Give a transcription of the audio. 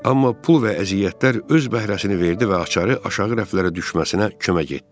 Amma pul və əziyyətlər öz bəhrəsini verdi və açarı aşağı rəflərə düşməsinə kömək etdi.